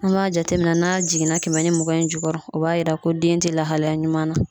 An b'a jateminɛ n'a jiginna kɛmɛ ni mugan in jukɔrɔ , o b'a yira ko den tɛ lahalaya ɲuman na.